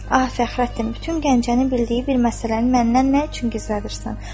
Ah, Fəxrəddin, bütün Gəncənin bildiyi bir məsələni məndən nə üçün gizlədirsən?